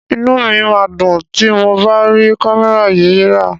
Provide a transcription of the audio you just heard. Inú mi máa dùn tí mo bá rí kámẹ́rà yìí rà.